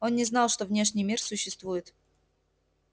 он не знал что внешний мир существует